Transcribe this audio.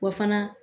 Wa fana